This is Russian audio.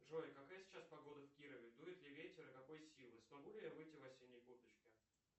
джой какая сейчас погода в кирове дует ли ветер и какой силы смогу ли я выйти в осенней курточке